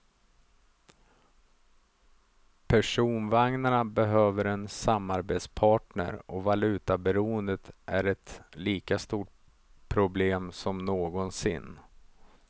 Personvagnarna behöver en samarbetspartner och valutaberoendet är ett lika stort problem som någonsin.